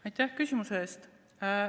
Aitäh küsimuse eest!